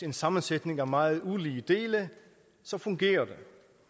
en sammensætning af meget ulige dele så fungerer det